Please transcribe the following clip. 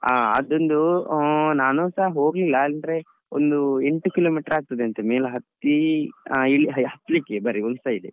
ಅದೊಂದು ನಾನುಸ ಹೋಗ್ಲಿಲ್ಲ ಅಂದ್ರೆ ಒಂದು ಎಂಟು kilometer ಆಗ್ತಾದಂತೆ ಮೇಲೆ ಎಲ್ಲ ಹತ್ತೀ ಆ ಈ ಹತ್ಲಿಕ್ಕೆ ಬರಿ ಒಂದ್ side ಎ.